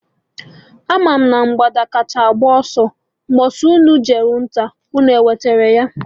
Ị ma na mgbada kacha agba ọsọ Mgbosi unu jelụ nta, unu enwetelụ ya?